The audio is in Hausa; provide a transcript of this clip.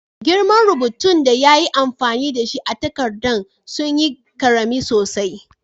Girman rubutun da ya yi amfani da shi a'takadan sun yi karemi sosai.